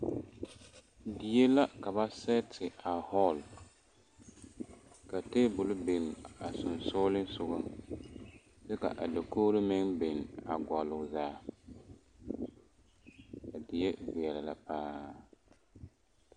Die la ka ba sɛɛte a hɔɔl ka table biŋ a sensogleŋ soga kyɛ ka a dakogro meŋ biŋ a gɔlle o zaa a die veɛlɛ la paa.